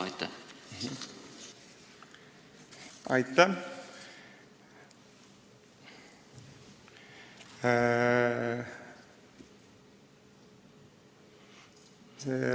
Aitäh!